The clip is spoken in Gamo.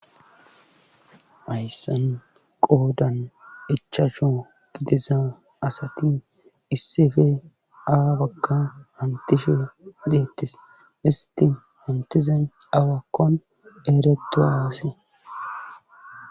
ayssan qoodan ichaacsho gidisa asati issefe aa bagga hantishe deettis isti hantizen awakkon eeretu aase